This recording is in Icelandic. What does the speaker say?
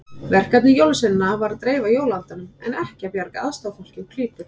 Verkefni jólasveinanna var að dreifa jólaandanum en ekki bjarga aðstoðarfólki úr klípu.